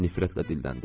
Nifrətlə dilləndi.